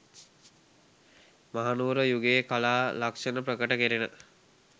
මහනුවර යුගයේ කලා ලක්‍ෂණ ප්‍රකට කෙරෙන